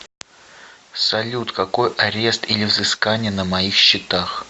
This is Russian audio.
салют какой арест или взыскания на моих счетах